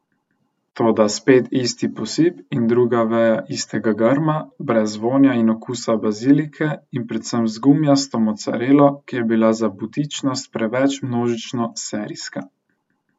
Toda spet isti posip in druga veja istega grma, brez vonja in okusa bazilike in predvsem z gumijasto mocarelo, ki je bila za butičnost preveč množično serijska.